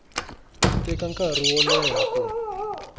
teka nkarhi wo leha ku